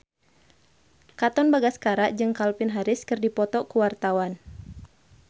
Katon Bagaskara jeung Calvin Harris keur dipoto ku wartawan